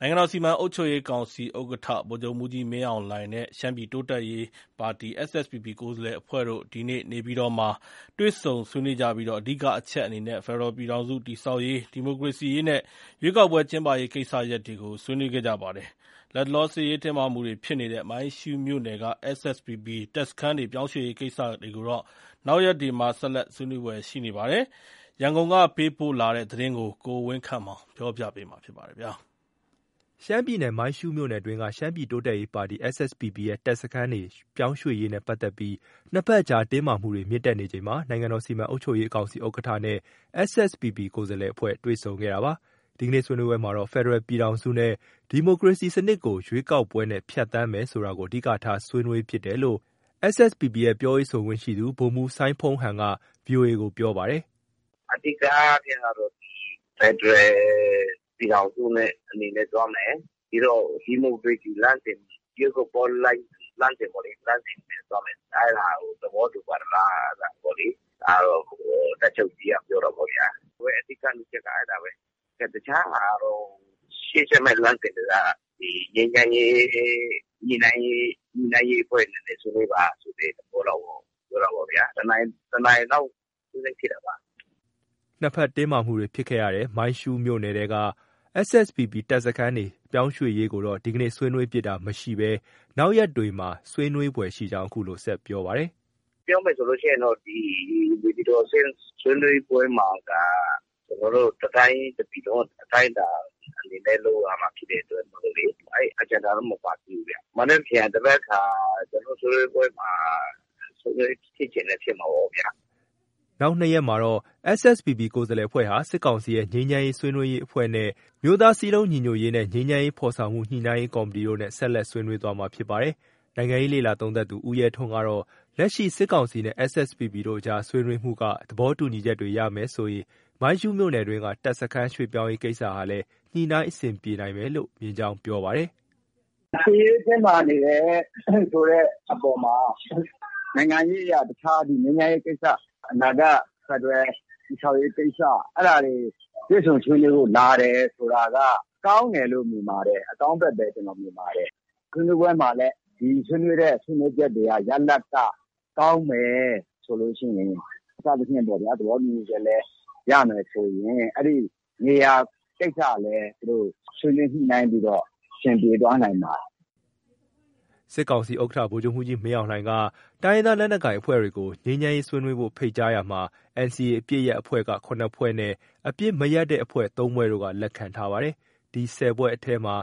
နိုင်ငံတော် စီမံအုပ်ချုပ်ရေးကောင်စီဥက္ကဋ္ဌ ဗိုလ်ချုပ်မှူးကြီးမင်းအောင်လှိုင်နဲ့ ရှမ်းပြည်တိုးတက်ရေးပါတီ SSPP ကိုယ်စားလှယ်အဖွဲ့တို့ ဒီနေ့ နေပြည်တော်မှာတွေ့ဆုံဆွေးနွေးကြပြီး အဓိကအချက်အနေနဲ့ ဖက်ဒရယ်ပြည်ထောင်စုတည်ဆောက်ရေး၊ ဒီမိုကရေစီရေးနဲ့ ရွေးကောက်ပွဲကျင်းပရေးကိစ္စရပ်တွေကို ဆွေးနွေးခဲ့ပါတယ်။ လတ်တလောစစ်ရေးတင်းမာမှုတွေ ဖြစ်နေတဲ့ မိုင်းရှူးမြို့နယ်က SSPP တပ်စခန်းတွေ ပြောင်းရွှေ့ရေးကိစ္စကိုတော့ နောက်ရက်တွေမှာ ဆက်လက် ဆွေးနွေးဖွယ်ရှိနေပါတယ်။ ရန်ကုန်က ပေးပို့တဲ့သတင်း ကိုဝင်းခန့်မောင်က တင်ပြပေးထားပါတယ်။ ရှမ်းပြည်နယ် မိုင်းရှူးမြို့နယ်အတွင်းက ရှမ်းပြည်တိုးတက်ရေးပါတီ SSPP ရဲ့ တပ်စခန်းတွေ ပြောင်းရွှေ့ရေးနဲ့ ပတ်သက်ပြီး နှစ်ဘက်အကြား တင်းမာမှုတွေ မြင့်တက် နေချိန်မှာ နိုင်ငံတော် စီမံအုပ်ချုပ်ရေးကောင်စီဥက္ကဋ္ဌနဲ့ SSPP ကိုယ်စားလှယ်အဖွဲ့ တွေ့ဆုံခဲ့တာပါ။ ဒီကနေ့ဆွေးနွေးပွဲမှာတော့ ဖယ်ဒယ်ရယ်ပြည်ထောင်စုနဲ့ ဒီမိုကရေစီစနစ်ကို ရွေးကောက်ပွဲနဲ့ဖြတ်သန်းမယ်ဆိုတာကို အဓိကထား ဆွေးနွေးဖြစ်တယ်လို့ SSPP ရဲ့ ပြောရေးဆိုခွင့်ရှိသူ ဗိုလ်မှူး စိုင်းဖုန်းဟန်က VOA ကို ပြောပါတယ်။ “ အဓိက အချက်ကတော့ ဒီ ဖက်ဒရယ်ပြည်ထောင်စုအနေနဲ့ သွားမယ်။ ပြီးတော့ ဒီမိုကရေစီလမ်းစဉ်။ ရွေးကောက်ပွဲလမ်းစဉ်နဲ့သွားမယ်။ အဲဒါကို သဘောတူပါသလားပေါ့လေ။ ဒါကတော့ တပ်ချုပ်ကြီးက ပြောတာပေါ့ဗျာ။ အဓိက ၂ ချက်က အဲဒါပဲ။ တခြားဟာကတော့ ရှေ့ဆက်မယ့်လမ်းစဉ်တွေက ဒီ ငြိမ်းချမ်းရေး ညှိနှိုင်းရေးအဖွဲ့တွေနဲ့ ဆွေးနွေးပါဆိုတဲ့ သဘောလောက်ပေါ့။ ပြောတာပေ့ါဗျာ။ တနာရီလောက် ဆွေးနွေးဖြစ်တာပါ။” နှစ်ဘက် တင်းမာမှုတွေ ဖြစ်ခဲ့ရတဲ့ မိုင်းရှုးမြို့နယ်က SSPP တပ်စခန်းတွေ ရွှေ့ပြောင်းရေးကိုတော့ ဒီနေ့ ဆွေးနွေးဖြစ်တာမရှိဘဲ နောက်ရက်တွေမှာ ဆွေးနွေးဖွယ်ရှိကြောင်းလည်း အခုလို ဆက်ပြောပါတယ်။ “ပြောမယ်ဆိုရင်တော့ ဒီ နေပြည်တော်အဆင့်ဆွေးနွေးပွဲမှာက ကျနော်တို့ တတိုင်း တပြည်လုံးအတိုင်းအတာအတွက် လုပ်ရမှာဖြစ်တဲ့အတွက်မို့လေ၊ အဲဒီ Agenda တော့ မပါသေးဘူးဗျ။ မနက်ဖြန် သဘက်ခါ ကျနော်တို့ ဆွေးနွေးပွဲမှာ ဆွေးနွေးဖြစ်ချင်လည်း ဖြစ်မှာပေါ့ဗျာ။ ” နောက် ၂ ရက်မှာတော့ SSPP ကိုယ်စားလှယ်အဖွဲ့ဟာ စစ်ကောင်စီရဲ့ ငြိမ်းချမ်းရေးဆွေးနွေးရေးအဖွဲ့နဲ့ အမျိုးသားစည်းလုံးညီညွတ်ရေးနဲ့ ငြိမ်းချမ်းရေး ဖော်ဆောင်မှုညှိနှိုင်းရေးကော်မတီတို့နဲ့ ဆက်လက် ဆွေးနွေးမှာ ဖြစ်ပါတယ်။ နိုင်ငံရေးလေ့လာသုံးသပ်သူ ဦးရဲထွန်းကတော့ လက်ရှိ စစ်ကောင်စီနဲ့ SSPP တို့ ကြား ဆွေးနွေးမှုက သဘောတူညီချက်တွေ ရမယ်ဆိုရင် မိုင်းရှူးမြို့နယ်အတွင်းက တပ်စခန်းရွှေ့ပြောင်းရေးကိစ္စဟာလည်း ညှိနှိုင်းအဆင်ပြေနိုင်မယ်လို့ မြင်ကြောင်း ပြောပါတယ်။ “စစ်ရေးတင်းမာနေတဲ့အပေါ်မှာ အခု နိုင်ငံရေးအရ တခြားငြိမ်းချမ်းရေးကိစ္စ၊ အနာဂတ်ဖက်ဒရယ် တည်ဆောက်ရေးကိစ္စ အဲဒါတွေ တွေ့ဆုံဆွေးနွေးဖို့ လာတယ်ဆိုတာက ကောင်းတယ်လို့ မြင်ပါတယ်။ အကောင်းဘက်ပဲ ကျနော် မြင်ပါတယ်။ ဆွေးနွေးပွဲမှာလည်း ဆွေးနွေးတဲ့ ဆွေးနွေးချက်တွေက ရလဒ်က ကောင်းမယ် ဆိုလို့ရှိရင် စသည်ဖြင့်ပေါ့ဗျာ။ သဘောတူညီချက်လည်း ရမယ်ဆိုရင် အဲဒီ နေရာကိစ္စကလည်း သူတို့ ဆွေးနွေးညှိနှိုင်းပြီးတော့ အဆင်ပြေသွားနိုင်ပါတယ်။” စစ်ကောင်စီဥက္ကဋ္ဌ ဗိုလ်ချုပ်မှူးကြီး မင်းအောင်လှိုင်က တိုင်းရင်းသားလက်နက်ကိုင်အဖွဲ့တွေကို ငြိမ်းချမ်းရေးဆွေးနွေးဖို့ ဖိတ်ကြားရာမှာ NCA အပစ်ရပ်အဖွဲ့ ၇ ဖွဲ့နဲ့ အပစ်မရပ်တဲ့အဖွဲ့ ၃ ဖွဲ့တို့က လက်ခံထားပါတယ်။ ဒီ ၁၀ ဖွဲ့အနက်မှာ